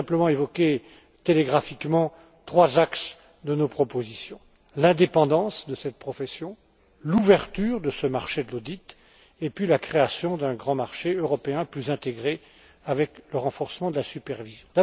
Je voudrais simplement évoquer télégraphiquement trois axes de nos propositions l'indépendance de cette profession, l'ouverture de ce marché de l'audit, et la création d'un grand marché européen, plus intégré, avec le renforcement de la supervision.